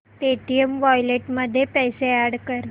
Paytm wallet मध्ये पैसे add कर